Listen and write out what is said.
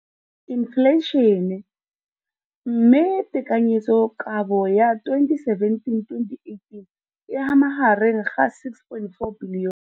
Infleišene, mme tekanyetsokabo ya 2017 le 2018 e magareng ga R6.4 bilione.